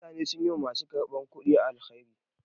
Mutane sun yi wa ma su karɓar kudi alheri.